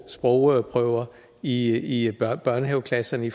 sprogprøver i i børnehaveklasserne